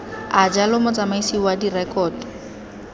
a jalo motsamaisi wa direkoto